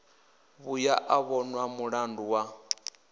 vhuya a vhonwa mulandu wa